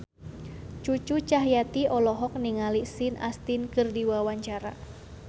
Cucu Cahyati olohok ningali Sean Astin keur diwawancara